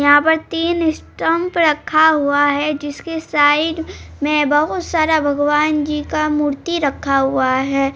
यहा पर तीन स्टम्प रखा हुआ है जिसके साइड मे बहुत सारा भगवान जी का मूर्ति रखा हुआ है।